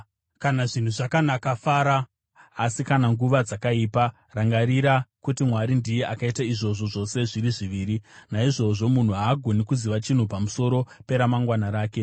Kana zvinhu zvakanaka, fara; asi kana nguva dzakaipa, rangarira kuti: Mwari ndiye akaita izvozvo zvose zviri zviviri. Naizvozvo, munhu haagoni kuziva chinhu pamusoro peramangwana rake.